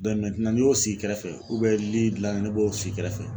n'i y'o sigi kɛrɛfɛ li gilanni ne b'o sigi kɛrɛfɛ.